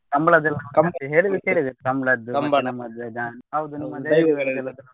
ಕಂಬಳದ್ದೆಲ್ಲ ಹೇಳಿದ್ದು ಕೇಳಿದೇನೆ ಕಂಬಳದ್ದು ಹೌದು ನಿಮ್ಮ ದೈವಗಳು.